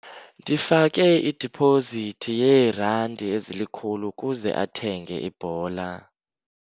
Ndifake idipozithi yeerandi ezilikhulu ukuze athenge ibhola.